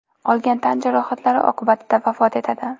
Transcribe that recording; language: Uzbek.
olgan tan jarohatlari oqibatida vafot etadi.